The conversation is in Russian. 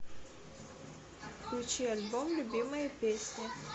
включи альбом любимые песни